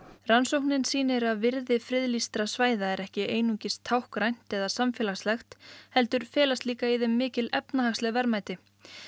rannsóknin sýnir að virði friðlýstra svæða er ekki einungis táknrænt eða samfélagslegt heldur felast líka í þeim mikil efnahagsleg verðmæti